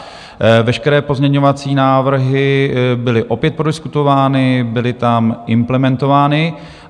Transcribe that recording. Veškeré pozměňovací návrhy byly opět prodiskutovány, byly tam implementovány.